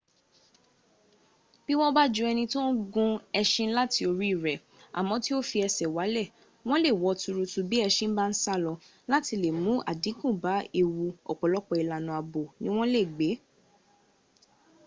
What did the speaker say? bí wọ́n bá ju ẹni tó ń gun eṣin láti oríirẹ̀ à mó tí o fi ẹṣẹ̀ walẹ̀ wọ́n lè wọ́ tuurutu bí ẹṣin bá sálọ. láti lè mún àdínkù bá ewu ọ̀pọ̀lọpọ̀ ìlànà ààbò ni wọ́n lè gbé